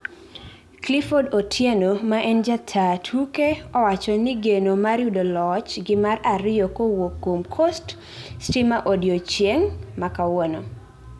Clifford Otieno ma en jataa tuke owacho ni geno mar yudoloch gi mar ariyo kowuok kuom coast stimaodiochieng makawuono